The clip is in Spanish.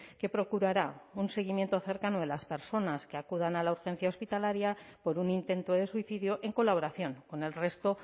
que procurará un seguimiento cercano de las personas que acudan a la urgencia hospitalaria por un intento de suicidio en colaboración con el resto